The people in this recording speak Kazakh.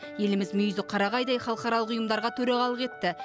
еліміз мүйізі қарағайдай халықаралық ұйымдарға төрағалық етті